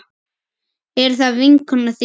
Er það vinkona þín?